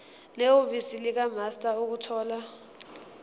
nehhovisi likamaster ukuthola